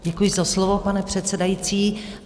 Děkuji za slovo, pane předsedající.